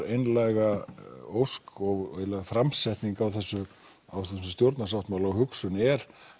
einlæga ósk og framsetning á þessum á þessum stjórnarsáttmála og hugsun er